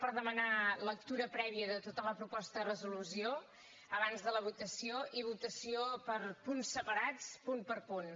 per demanar lectura prèvia de tota la proposta de resolució abans de la votació i votació per punts separats punt per punt